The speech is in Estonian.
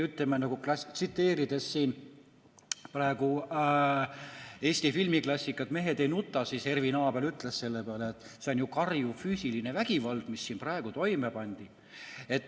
Ütleme, tsiteerides Eesti filmiklassikat "Mehed ei nuta", et Ervin Abel ütleks selle peale, et see on ju karjuv füüsiline vägivald, mis siin praegu toime pandi.